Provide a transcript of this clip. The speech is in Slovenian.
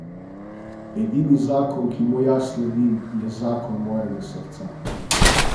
Edini zakon, ki mu jaz sledim, je zakon mojega srca.